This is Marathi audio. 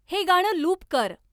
हे गाणं लूप कर